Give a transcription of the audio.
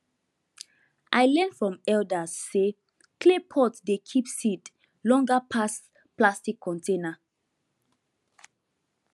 i learn from elders say clay pot dey keep seed longer pass plastic container